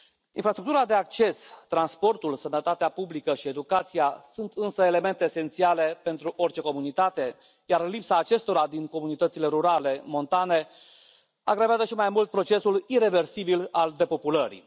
Infrastructura de acces, transportul, sănătatea publică și educația sunt însă elemente esențiale pentru orice comunitate, iar lipsa acestora din comunitățile rurale montane agravează și mai mult procesul ireversibil al depopulării.